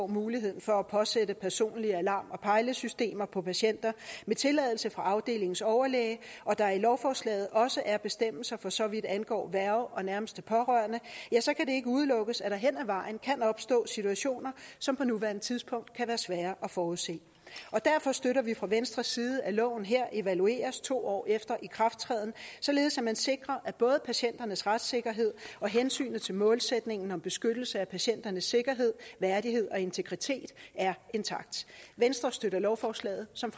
mulighed for at påsætte personlige alarm og pejlesystemer på patienter med tilladelse fra afdelingens overlæge og der i lovforslaget også er bestemmelser for så vidt angår værge og nærmeste pårørende ja så kan det ikke udelukkes at der hen ad vejen kan opstå situationer som på nuværende tidspunkt kan være svære at forudse derfor støtter vi fra venstres side at loven her evalueres to år efter ikrafttræden således at man sikrer at både patienternes retssikkerhed og hensynet til målsætningen om beskyttelse af patienternes sikkerhed værdighed og integritet er intakt venstre støtter lovforslaget som